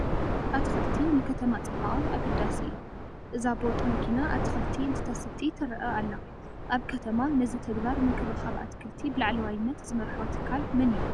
ኣትክልቲ ንከተማ ፅባቐ ኣገዳሲ እዩ፡፡ እዛ ቦጥ መኪና ኣትክልቲ እንትተስቲ ትርአ ኣላ፡፡ ኣብ ከተማ ነዚ ተግባር ምንክብኻብ ኣትክልቲ ብላዕለዋይነት ዝመርሖ ኣካል መን እዩ?